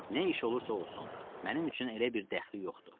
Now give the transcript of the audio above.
Nə iş olursa olsun, mənim üçün elə bir dəxli yoxdur.